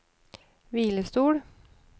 hvilestol